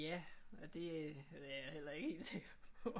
Ja det er jeg heller ikke helt sikker på